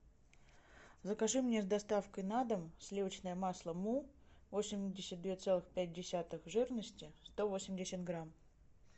закажи мне с доставкой на дом сливочное масло му восемьдесят две целых пять десятых жирности сто восемьдесят грамм